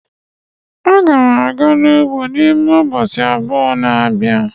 Aga m aga ugbo n'ime ubochi abuo na-abia